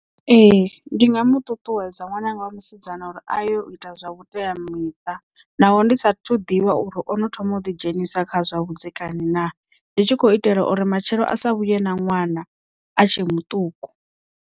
Ee ndi nga mu ṱuṱuwedza ṅwananga wa musidzana uri a yo ita zwa vhuteamiṱa naho ndi sathu ḓivha uri ono thoma u ḓi dzhenisa kha zwa vhudzekani naa ndi tshi khou itela uri matshelo a sa vhuye na ṅwana a tshe muṱuku.